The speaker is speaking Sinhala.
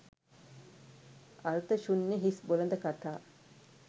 අර්ථ ශූන්‍ය හිස් බොළඳ කතා